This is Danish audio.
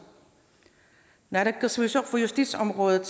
naalakkersuisoq for justitsområdet